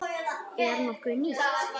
Er nokkuð nýtt?